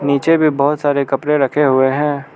नीचे भी बहोत सारे कपड़े रखे हुए हैं।